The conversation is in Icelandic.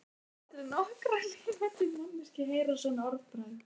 Láttu aldrei nokkra lifandi manneskju heyra svona orðbragð.